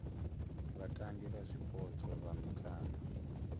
vhatambi vha zwipotso vha mitambo